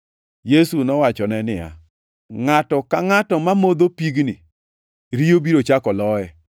Yesu nodwoke niya, “Ngʼato ka ngʼato mamodho pigni riyo biro chako loye,